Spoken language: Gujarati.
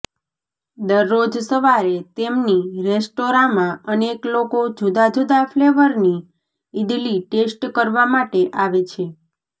દરરોજ સવારે તેમની રેસ્ટોરાંમાં અનેક લોકો જુદા જુદા ફ્લેવરની ઈડલી ટેસ્ટ કરવા માટે આવે છે